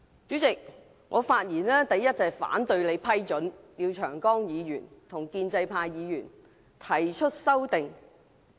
"主席，我發言，首先是反對你批准廖長江議員與建制派議員提出修訂。